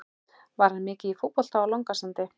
Var hann mikið í fótbolta á Langasandi?